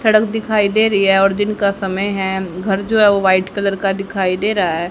सड़क दिखाई दे रही हैं और दिन का समय है घर जो हैं व्हाईट कलर का दिखाई दे रहा है।